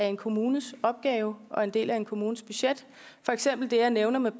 en kommunes opgaver og en del af en kommunes budget for eksempel det jeg nævnede